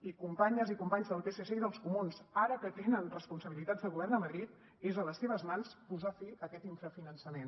i companyes i companys del psc i dels comuns ara que tenen responsabilitats de govern a madrid és a les seves mans posar fi a aquest infrafinançament